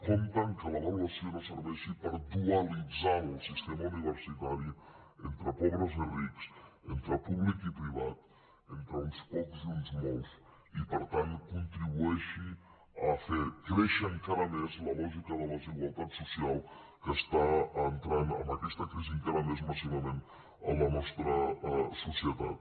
compte que l’avaluació no serveixi per dualitzar el sistema universitari entre pobres i rics entre públic i privat entre uns pocs i uns molts i per tant que contribueixi a fer créixer encara més la lògica de la desigualtat social que està entrant amb aquesta crisi encara més massivament en la nostra societat